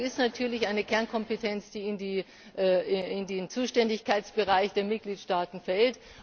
Bildung ist natürlich eine Kernkompetenz, die in den Zuständigkeitsbereich der Mitgliedstaaten fällt.